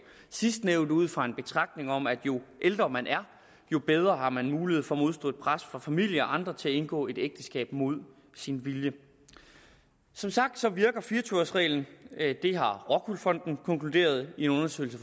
sidstnævnte ud fra en betragtning om at jo ældre man er jo bedre har man mulighed for at modstå et pres fra familie og andre til at indgå et ægteskab mod sin vilje som sagt virker fire og tyve års reglen det har rockwool fonden konkluderet i en undersøgelse